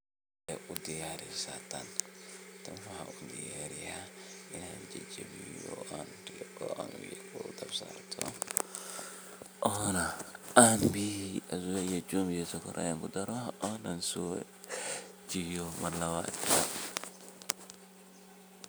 waxa udiyarisa tan, tan waxa udiyaraya inan jajabiyo oo aan dhab sarto ona biyo, jumbi iyo sokor aan kudaro o aan jabiyo mar labaad